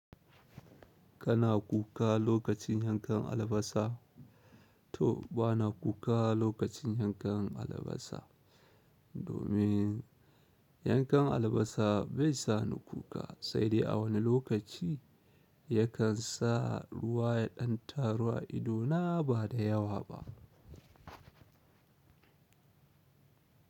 Kana kuka lokacin yankan albasa to bana kuka lokacin yankan albasa. Domin yankan albasa bai sa ni kuka sai dai a wani lokaci yakan sa ruwa ya ɗan taru a ido na ba da yawa ba.